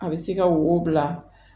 A bɛ se ka wo bila